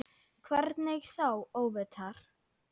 Hvernig þá óvitar?